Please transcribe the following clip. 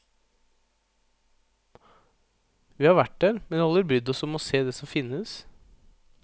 Vi har vært der, men aldri brydd oss om å se det som finnes.